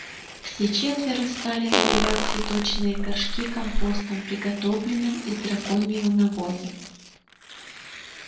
все четверо стали набивать цветочные горшки компостом приготовленным из драконьего навоза